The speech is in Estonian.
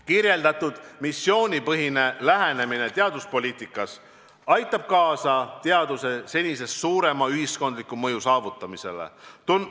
Kirjeldatud missioonipõhine lähenemine teaduspoliitikas aitab kaasa teaduse senisest suurema ühiskondliku mõju saavutamisele.